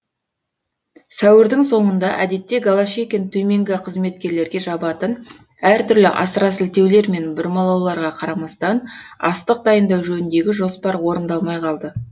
сәуірдің соңында әдетте голощекин төменгі қызметкерлерге жабатын әртүрлі асыра сілтеулер мен бұрмалауларға қарамастан астық дайындау жөніндегі жоспар орындалмай қалды